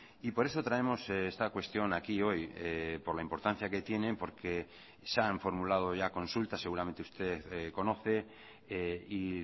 y por eso traemos esta cuestión aquí hoy por la importancia que tienen porque se han formulado ya consultas seguramente usted conoce y